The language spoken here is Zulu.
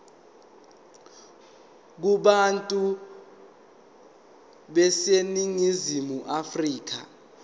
kubantu baseningizimu afrika